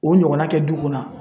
O ɲɔgɔnna kɛ du kɔnɔ